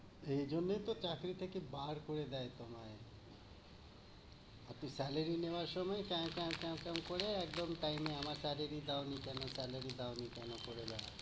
এই জন্যেই তো চাকরি থেকে বার করে দেয় তোমায়। আর salary নেওয়ার সময় টে টে টে টং করে একদম time এ আমার কাছে দিয়ে যাও, আমি salary দাও নি কেনো করে বেড়াও।